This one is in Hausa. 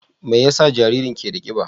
Me yasa jaririn na da kiba?